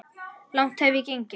Langt hef ég gengið.